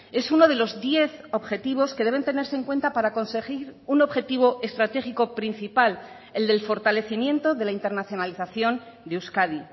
es uno de los diez objetivos que deben tenerse en cuenta para conseguir un objetivo estratégico principal el del fortalecimiento de la internacionalización de euskadi